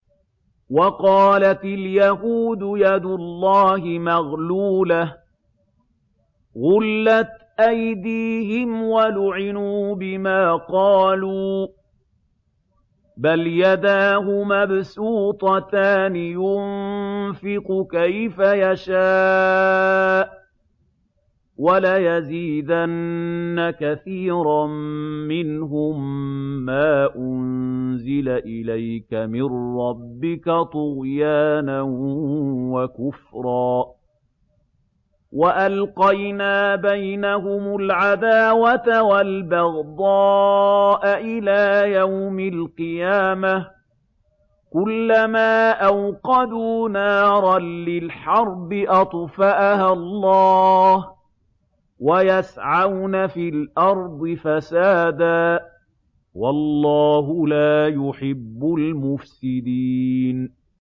وَقَالَتِ الْيَهُودُ يَدُ اللَّهِ مَغْلُولَةٌ ۚ غُلَّتْ أَيْدِيهِمْ وَلُعِنُوا بِمَا قَالُوا ۘ بَلْ يَدَاهُ مَبْسُوطَتَانِ يُنفِقُ كَيْفَ يَشَاءُ ۚ وَلَيَزِيدَنَّ كَثِيرًا مِّنْهُم مَّا أُنزِلَ إِلَيْكَ مِن رَّبِّكَ طُغْيَانًا وَكُفْرًا ۚ وَأَلْقَيْنَا بَيْنَهُمُ الْعَدَاوَةَ وَالْبَغْضَاءَ إِلَىٰ يَوْمِ الْقِيَامَةِ ۚ كُلَّمَا أَوْقَدُوا نَارًا لِّلْحَرْبِ أَطْفَأَهَا اللَّهُ ۚ وَيَسْعَوْنَ فِي الْأَرْضِ فَسَادًا ۚ وَاللَّهُ لَا يُحِبُّ الْمُفْسِدِينَ